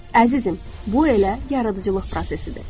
Əzizim, bu elə yaradıcılıq prosesidir.